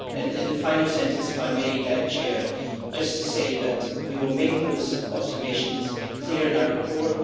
In the final sentence, if I may, I would just say that we will make those observations clear in our report.